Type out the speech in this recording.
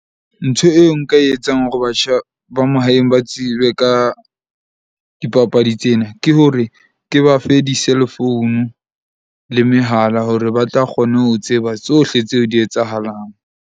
Ntho eo nka e etsang hore batjha ba mahaeng ba tsebe ka dipapadi tsena, ke hore ke ba fe di-cell phone le mehala hore ba tla kgone ho tseba tsohle tseo di etsahalang.